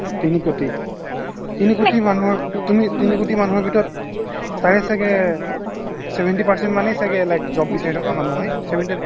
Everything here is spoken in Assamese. তিনি কৌটি তিনি কৌটি মানুহৰ তুমি তিনি কৌটি মানুহৰ ভিতৰত তাৰে ছাগে seventy percent য়ে ছাগে like job বিচাৰি থকা মানুহ হয়